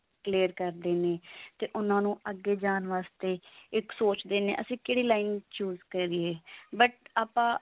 clear ਕਰਦੇ ਨੇ ਤੇ ਉਹਨਾਂ ਨੂੰ ਅੱਗੇ ਜਾਂ ਵਾਸਤੇ ਤੇ ਇੱਕ ਸੋਚਦੇ ਨੇ ਅਸੀਂ ਕਿਹੜੀ line choose ਕਰੀਏ but ਆਪਾਂ